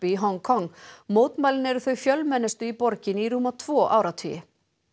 í Hong Kong mótmælin eru þau fjölmennustu í borginni í rúma tvo áratugi